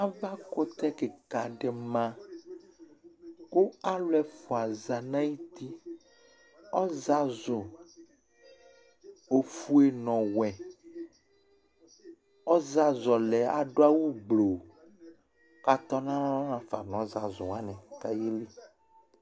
Ava kutɛ kìka ɖi ma kʋ alu ɛfʋa za ŋu ayʋti Ɔzazu ɔfʋe ŋu ɔwɛ Ɔzazu ɔlaɛ aɖu awu gblo kʋ atɔnalɔ ŋafa ŋu ɔzazu waŋi kʋ aɣeli